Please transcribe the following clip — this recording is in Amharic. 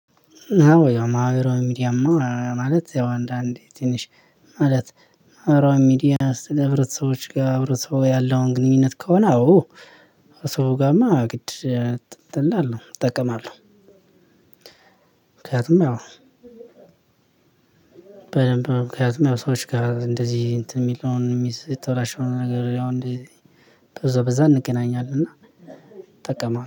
አዎ ያው ማህበራዊ ሚዲያ። ማለት ያው አንዳንዴ ትንሽ ማለት ማህበራዊ ሚዲያ ህብረተሰቡዎች ጋር ህብረተሰቡ ያለውን ግንኙነት ከሆነ አዎ ሰው ጋርማ ግድ እጠቀማለሁ እጠቀማለሁ። ምክንያቱም በደንብ ምክንያቱም ያው ሰዎች ጋር እንደዚህ የሚለውን የሚዘው የተበላሸውን ነገር ያው እንደዚህ በዛ በዛ እንገናኛለን። እና ጠቀመዋል